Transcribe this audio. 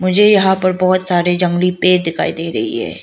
मुझे यहां पर बहोत सारे जंगली पेड़ दिखाई दे रही है।